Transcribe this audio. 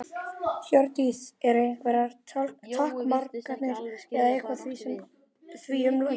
Hjördís: Eru einhverjar takmarkanir eða eitthvað því um líkt á?